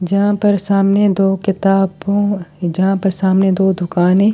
जहाँ पर सामने दो किताबों जहां पर सामने दो दुकाने है।